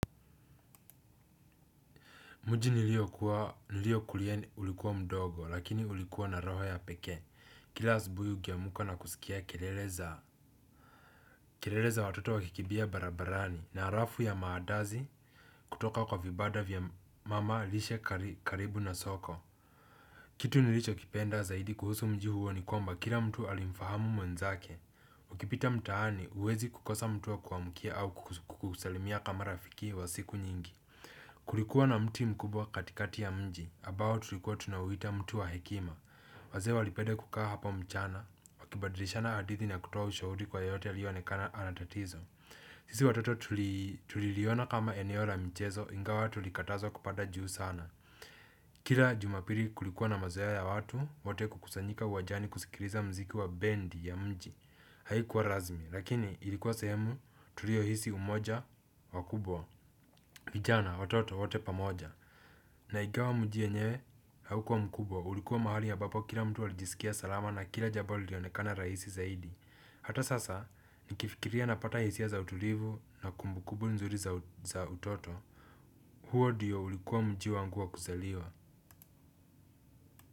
Mji niliokulia ulikuwa mdogo lakini ulikuwa na roho ya pekee kila asubuhi ukiamka na kusikia kelele za kelele za watoto wakikibia barabarani na harafu ya maadazi kutoka kwa vibada vya mama lishe karibu na soko. Kitu nilicho kipenda zaidi kuhusu mji huo nikwamba kila mtu alimfahamu mwenzake. Ukipita mtaani huwezi kukosa mtu wa kukuamukia au kukusalimia kama rafiki wa siku nyingi. Kulikuwa na mti mkubwa katikati ya mji abao tulikuwa tunauita mti wa hekima. Wazee walipeda kukaa hapo mchana. Wakibadirishana hadithi na kutoa ushahuri kwa yeyote aliyeonekana anatatizo. Sisi watoto tuliliona kama eneo la michezo. Ingawa tulikatazwa kupanda juu sana kila jumapili kulikuwa na mazoea ya watu wote kukusanyika uwajani kusikiliza muziki wa bendi ya mji. Haikuwa razmi. Lakini ilikuwa sehemu tulio hisi umoja wakubwa vijana watoto wote pamoja na ikawa mji yenyewe haukuwa mkubwa ulikuwa mahali abapo kila mtu alijisikia salama na kila jabo lilionekana raisi zaidi hata sasa nikifikiria napata hisia za utulivu na kumbukubu nzuri za utoto huo diyo ulikuwa mji wangu wa kuzaliwa.